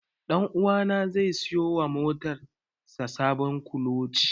Ɗanuwa na zai siyo wa motar sa sabon kuloci.